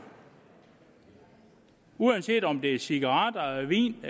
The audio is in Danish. uanset om det er cigaretter vin